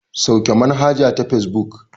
Sauke manhaja ta fesbuk.